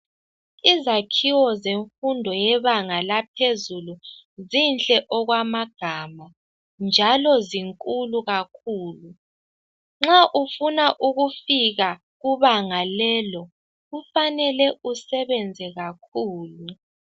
Izakhiwo zemfundo yebanga laphezulu zinhle okwamagama njalo zinkulu kakhulu, nxa ufuna ukufika kubanga lelo kufanele usebenze kakhulu.